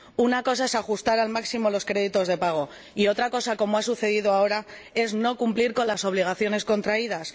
Una cosa es ajustar al máximo los créditos de pago y otra cosa, como ha sucedido ahora, es no cumplir con las obligaciones contraídas.